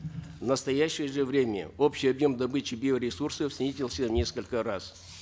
в настоящее же время общий объем добычи биоресурсов снизился в несколько раз